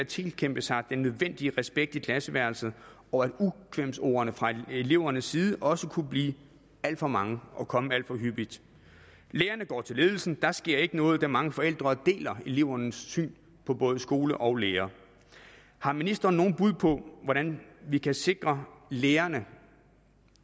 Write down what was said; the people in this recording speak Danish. tilkæmpe sig den nødvendige respekt i klasseværelset og at ukvemsordene fra elevernes side også kunne blive alt for mange og komme alt for hyppigt lærerne går til ledelsen men der sker ikke noget da mange forældre deler elevernes syn på både skole og lærere har ministeren noget bud på hvordan vi kan sikre lærerne